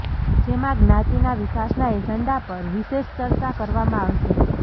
જેમાં જ્ઞાતિના વિકાસના એજન્ડા પર વિશેષ ચર્ચા કરવામાં આવશે